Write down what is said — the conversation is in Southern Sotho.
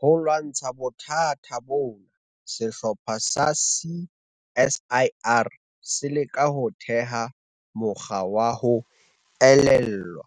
Ho lwantsha bothata bona, sehlopha sa CSIR se leka ho theha mokgwa wa ho elellwa